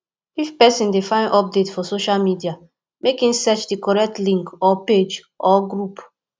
if persin de find update for socia media make in search di correct link or page or group